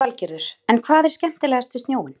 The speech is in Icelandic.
Lillý Valgerður: En hvað er skemmtilegast við snjóinn?